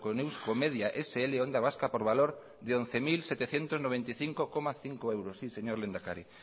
con euskomedia sl onda vasca por valor de once mil setecientos noventa y cinco coma cinco euros sí señor lehendakari